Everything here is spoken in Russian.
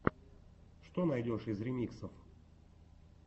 что найдешь из ремиксов